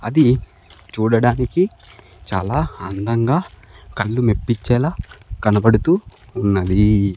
అది చూడడానికి చాలా అందంగా కళ్ళు మెప్పిచేలా కనబడుతూ ఉన్నది.